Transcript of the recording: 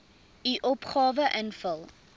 u opgawe invul